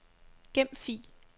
Gem fil.